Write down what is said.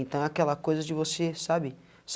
Então aquela coisa de você, sabe?